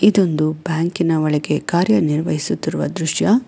ಇದೊಂದು ಬ್ಯಾಂಕಿನ ಒಳಗೆ ಕಾರ್ಯ ನಿರ್ವಹಿಸುತ್ತಿರುವ ದೃಶ್ಯ.